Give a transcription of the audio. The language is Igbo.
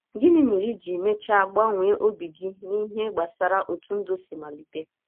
Gịnị mere i ji mechaa gbanwee obi gị n’ihe gbasara otú ndụ si malite?